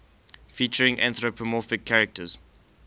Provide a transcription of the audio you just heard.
featuring anthropomorphic characters